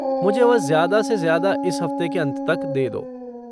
मुझे वह ज्यादा से ज्यादा इस हफ़्ते के अंत तक दे दो।